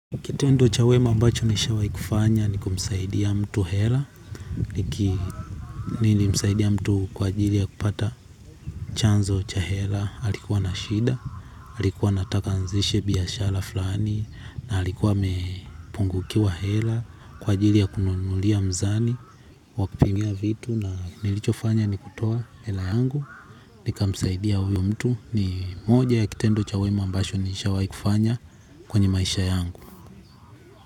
Kitendo cha wema ambacho nishawai kufanya ni kumsaidia mtu Hela. Niki nilimsaidia mtu kwa ajili ya kupata chanzo cha Hela alikuwa na shida, alikuwa anataka aanzishe biashala flani na alikuwa amepungukiwa hela kwa ajili ya kununulia mzani wa kupimia vitu na nilichofanya ni kutoa hela yangu. Nikamsaidia huyo mtu ni moja ya kitendo cha wema ambacho nishawai kufanya kwenye maisha yangu.